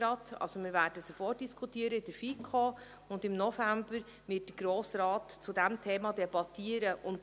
Wir werden sie in der FiKo vordiskutieren, und im November wird der Grosse Rat darüber debattieren.